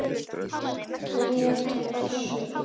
grét Össur.